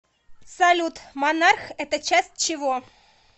салют монарх это часть чего